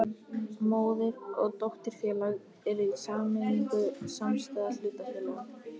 Móður- og dótturfélag eru í sameiningu samstæða hlutafélaga.